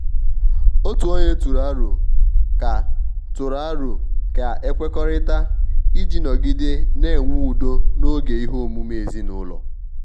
otu ọnye tụrụ aro ka tụrụ aro ka e kwekọrịta iji nọgide na-enwe udo n'oge ihe omume ezinụlọ.